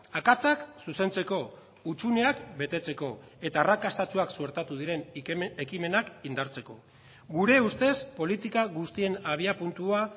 akatsak zuzentzeko hutsuneak betetzeko eta arrakastatsuak suertatu diren ekimenak indartzeko gure ustez politika guztien abiapuntua